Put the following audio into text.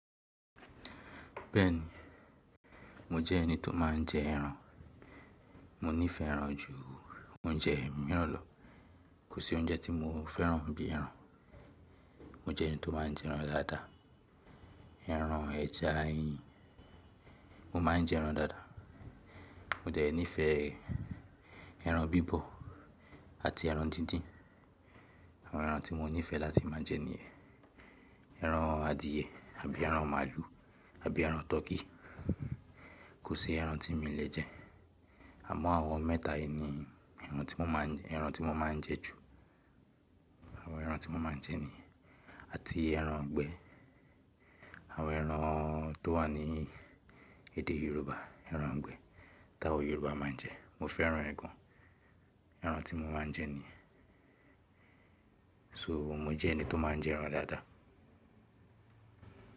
Bẹ́ẹ̀ni, mo jẹ́ ẹni tó má ń jẹ ẹran. Mo nífẹ̀ẹ́ ẹran ju oúnjẹ mìíràn lọ. Kò sí oúnjẹ tí mo fẹ́ràn bí i ẹran. Mo jẹ́ ẹni tó má ń jẹ ẹran dáadáa. Ẹran ẹja iyin, mo má ń jẹ ẹran dáadáa. Mo dẹ̀ nífẹ̀ẹ́ ẹran bíbọ̀ àti ẹran dídín. Àwọn ẹran tí mo nífẹ̀ẹ́ láti má a jẹ ni ẹran adìẹ àbí ẹran màlúù àbí ẹran turkey. Kò sí ẹran tí mí lè jẹ. Àmọ́ àwọn mẹ́ta yìí ni ẹran tí mo má ń jẹ ju. Àwọn ẹran tí mo má ń jẹ ni àti ẹran igbẹ̀. Àwọn ẹran tó wà ní èdè Yorùbá, ẹran igbẹ̀ táwọn Yorùbá má ń jẹ. Mo fẹ́ràn ẹ̀ gan an. Ẹran tí mo má ń jẹ ni. So mo jẹ́ ẹni tó má ń jẹ ẹran dáadáa.